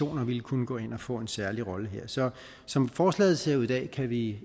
vil kunne gå ind og få en særlig rolle her så som forslaget ser ud i dag kan vi